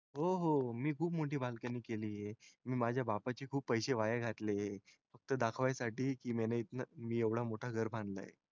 हो हो मी खूप मोठी balcony केली आहे मी माझ्या बापाचे खूप पसे वाया घातले फक्त दखवायसाठी मैने इतना मी एवढे मोठे घर बनले आहे.